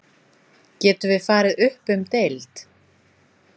Getum við farið upp um deild?